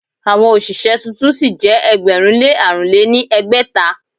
Àwọn òṣìṣẹ́ tuntun sí jẹ́ ẹgbẹ̀rún lé àrùn lé ní ẹgbẹ́ta.